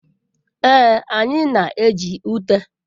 Ee, anyị na-eji ute.